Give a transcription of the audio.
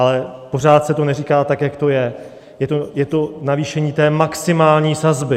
Ale pořád se to neříká tak, jak to je - je to navýšení té maximální sazby.